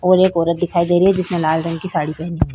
और एक औरत दिखाई दे रही है जिसने लाल रंग की साड़ी पहनी है।